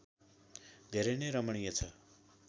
धेरै नै रमणीय छ